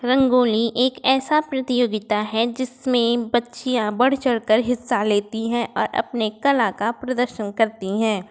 रंगोली एक ऐसा प्रतियोगिता है जिसमे बच्चियाँ बढ़ चढ़कर हिस्सा लेती हैं और अपनी कला का प्रदर्शन करती हैं।